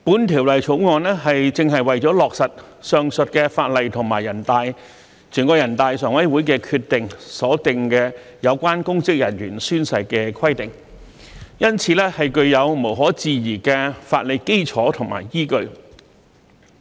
《條例草案》正是為了落實上述法例及全國人大常委會的決定所訂有關公職人員宣誓的規定，因此，具有無可置疑的法理基礎和依據。